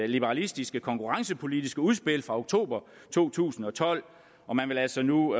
liberalistiske konkurrencepolitiske udspil fra oktober to tusind og tolv og man vil altså nu